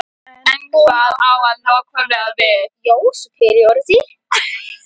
En hvað á hann nákvæmlega við?